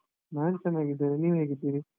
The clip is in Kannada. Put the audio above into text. ನಾನ್ ಚನ್ನಾಗಿದ್ದೇನೆ, ನೀವ್ ಹೇಗಿದ್ದೀರಿ?